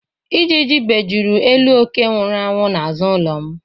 Ijiji bejuru elu ókè nwụrụ n'azụ ụlọ m.